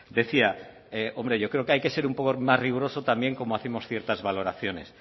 decía hombre yo creo que hay que ser un poco más riguroso también cómo hacemos ciertas valoraciones